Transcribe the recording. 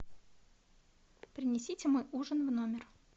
принесите мой ужин в номер